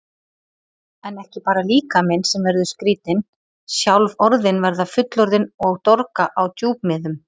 En ekki bara líkaminn sem verður skrýtinn, sjálf orðin verða fullorðin og dorga á djúpmiðum.